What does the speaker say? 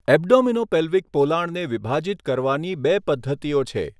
Abdominopelvic પોલાણને વિભાજીત કરવાની બે પદ્ધતિઓ છે.